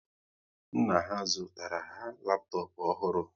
Nna ha zụtara ha laptop ọhụrụ